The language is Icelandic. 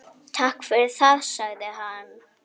Takk fyrir það- sagði hann.